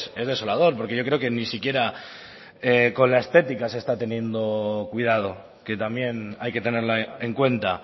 es desolador porque yo creo que ni siquiera con la estética se está teniendo cuidado que también hay que tenerla en cuenta